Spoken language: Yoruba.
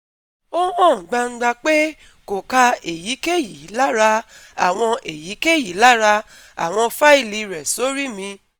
O han gbangba pe ko ka eyikeyi lara awon eyikeyi lara awon faili re sori mi